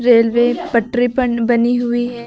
Railway पटरी पर बनी हुई है।